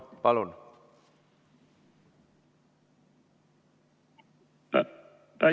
Palun!